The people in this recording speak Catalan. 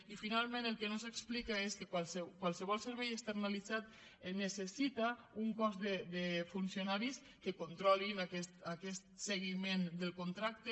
i finalment el que no s’explica és que qualsevol servei externalitzat necessita un cos de funcionaris que controlin aquest seguiment del contracte